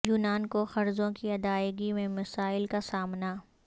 یونان کو قرضوں کی ادائیگی میں مسائل کا سامنا